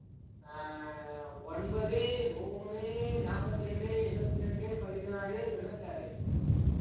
ஆஹ் ஒன்பது மூணு நாப்பத்திரெண்டு எழுவத்திரெண்டு பதினாறு தொண்ணூத்தாறு